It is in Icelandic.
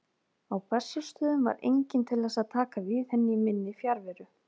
Á Bessastöðum var enginn til þess að taka við henni í minni fjarveru.